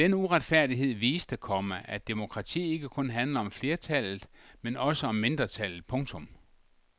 Denne uretfærdighed viste, komma at demokrati ikke kun handler om flertallet men også om mindretallet. punktum